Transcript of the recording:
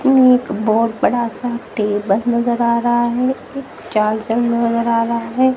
एक बहोत बड़ा सा टेबल नजर आ रहा है एक चार्जर नजर आ रहा है।